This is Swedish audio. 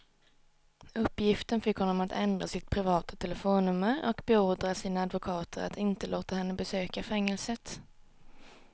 Uppgiften fick honom att ändra sitt privata telefonnummer och beordra sina advokater att inte låta henne besöka fängelset.